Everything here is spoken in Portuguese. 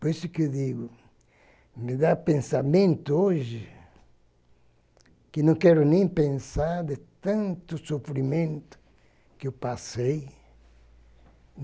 Por isso que eu digo, me dá pensamento hoje que não quero nem pensar de tanto sofrimento que eu passei.